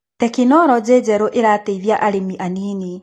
Tekinologĩ njerũ ĩreteithia arĩmi anini.